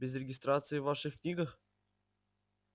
без регистрации в ваших книгах